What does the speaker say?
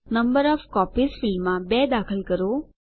number of copies ફિલ્ડમાં 2 દાખલ કરો